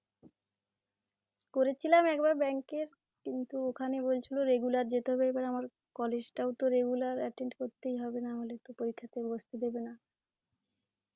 করেছিলাম একবার bank এর কিন্তু ওখানে বলছিল regular যেতে হবে এবার আমার college টাও তো regular attend করতেই হবে নাহলে তো পরীক্ষাতে বসতে দেবে না